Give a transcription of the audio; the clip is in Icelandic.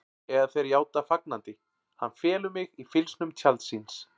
Eða þeir játa fagnandi: Hann felur mig í fylgsnum tjalds síns.